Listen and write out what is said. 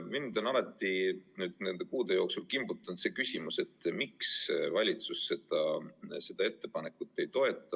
Mind on nende kuude jooksul kogu aeg kimbutanud küsimus, miks valitsus seda ettepanekut ei toeta.